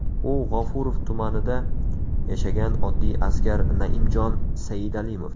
U – G‘ofurov tumanida yashagan oddiy askar Naimjon Saidalimov.